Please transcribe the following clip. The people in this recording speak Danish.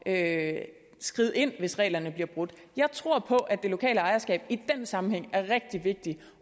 at skride ind hvis reglerne bliver brudt jeg tror på at det lokale ejerskab i den sammenhæng er rigtig vigtigt